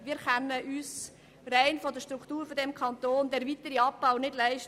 Wir können uns rein in Anbetracht der Struktur dieses Kantons den weiteren Abbau nicht leisten.